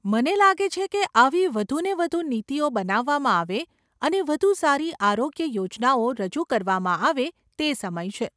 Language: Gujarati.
મને લાગે છે કે આવી વધુ ને વધુ નીતિઓ બનાવવામાં આવે અને વધુ સારી આરોગ્ય યોજનાઓ રજૂ કરવામાં આવે તે સમય છે.